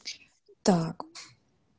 так